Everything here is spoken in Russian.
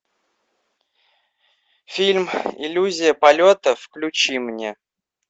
фильм иллюзия полета включи мне